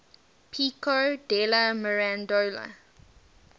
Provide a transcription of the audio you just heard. pico della mirandola